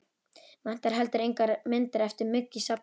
Vantar heldur engar myndir eftir Mugg í safnið?